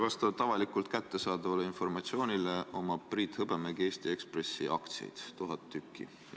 Vastavalt avalikult kättesaadavale informatsioonile omab Priit Hõbemägi Eesti Ekspressi aktsiaid, tuhat tükki.